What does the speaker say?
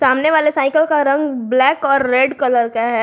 सामने वाले साइकिल का रंग ब्लैक और रेड कलर का है।